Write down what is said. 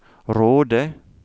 Råde